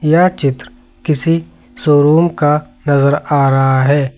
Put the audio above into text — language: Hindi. यह चित्र किसी शोरूम का नजर आ रहा है।